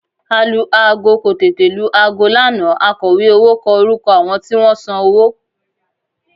Alu-aago kò tètè lu aago lánàá akọ̀wé owó kọ orúkọ àwọn tí wọ́n san owó